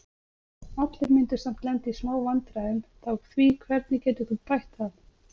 Allir myndu samt lenda í smá vandræðum þá því hvernig getur þú bætt það?